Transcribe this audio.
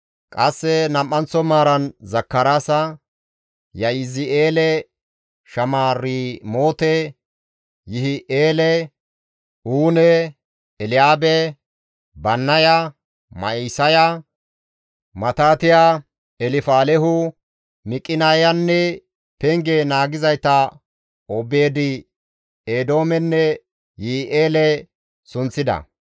Qasse nam7anththo maaran Zakaraasa, Ya7izi7eele, Shamiramoote, Yihi7eele, Uune, Elyaabe, Bannaya, Ma7isaya, Matitiya, Elfaalehu, Miqineyanne penge naagizayta Obeed-Eedoomenne Yi7i7eele sunththida.